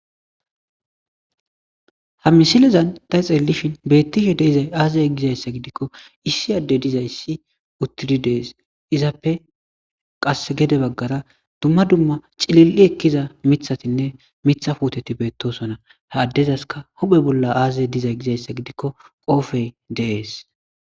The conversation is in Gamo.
Ha misile bolla ta xelishini dizayi aze gida gidiko issi ade dizayisi qasse gede bagara duma duma cilili utidda mithatine mitha puteti deyesi, ha adeza hupheni aze dizayi gikko qobeyi deyesi